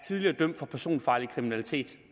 dømt for personfarlig kriminalitet